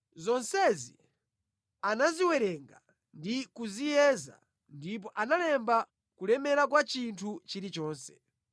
Zonsezi anaziwerenga ndi kuziyeza ndipo analemba kulemera kwa chinthu chilichonse.